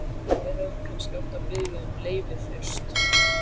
Við hefðum kannski átt að biðja um leyfi fyrst?